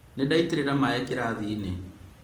ndaitĩrĩria maĩ karatathi-inĩ